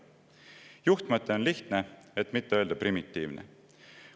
Juhtmõte on lihtne, et mitte öelda primitiivne.